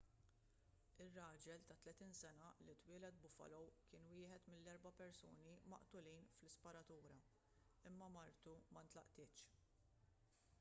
ir-raġel ta' 30 sena li twieled buffalo kien wieħed mill-erba' persuni maqtulin fl-isparatura imma martu ma nlaqtitx